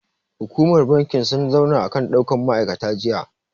Hukumar bankin sun zauna akan ɗaukan ma'aikata jiya.